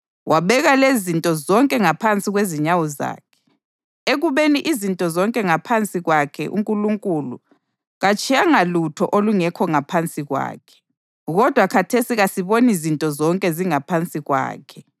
wabeka lezinto zonke ngaphansi kwezinyawo zakhe.” + 2.8 AmaHubo 8.4-6 Ekubekeni izinto zonke ngaphansi kwakhe uNkulunkulu katshiyanga lutho olungekho ngaphansi kwakhe. Kodwa khathesi kasiboni zinto zonke zingaphansi kwakhe.